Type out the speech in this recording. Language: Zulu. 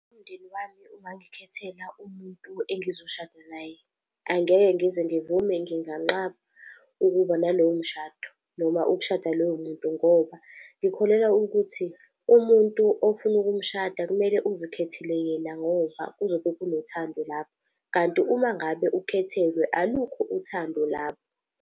Umndeni wami ungazikhethela umuntu engizoshada naye, angeke ngize ngivume, nganqaba ukuba naleyo umshado noma ukushada lowo muntu, ngoba ikholelwa ukuthi umuntu ofuna ukushada kumele uzithathele yena ngoba kuzobe kanothando lapho. Kanti uma ngabe ukhethelwe, alukho uthando lapho.